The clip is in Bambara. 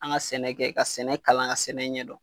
An ka sɛnɛ kɛ ka sɛnɛ kalan ka sɛnɛ ɲɛdon